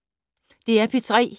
DR P3